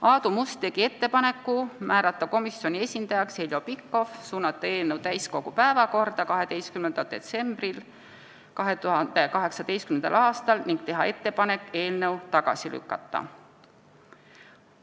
Aadu Must tegi ettepaneku määrata komisjoni esindajaks Heljo Pikhof, suunata eelnõu täiskogu päevakorda 12. detsembriks 2018. aastal ning teha ettepanek eelnõu tagasi lükata.